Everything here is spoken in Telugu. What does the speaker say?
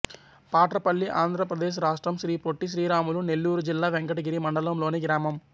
పాట్రపల్లి ఆంధ్ర ప్రదేశ్ రాష్ట్రం శ్రీ పొట్టి శ్రీరాములు నెల్లూరు జిల్లా వెంకటగిరి మండలం లోని గ్రామం